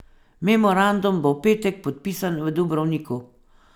Memorandum bo v petek podpisan v Dubrovniku.